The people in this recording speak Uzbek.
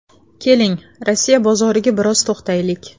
Keling, Rossiya bozoriga biroz to‘xtaylik.